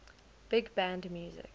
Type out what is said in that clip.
big band music